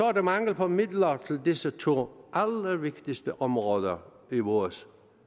er der mangel på midler til disse to allervigtigste områder i vores